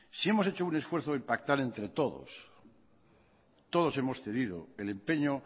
si hemos hecho un esfuerzo en pactar entre todos todos hemos cedido el empeño